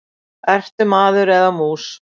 Ertu maður eða mús?